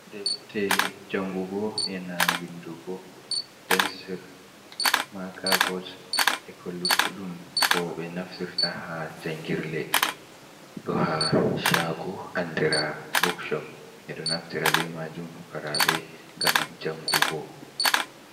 Defte jangugo, ena windugo, pencil, maka bot, eko luttuɗum koɓe naftirta ha jangirle, ɗo ha shago andira bukshop. Ɓeɗo naftira be majum pukaraɓe ngam jangugo.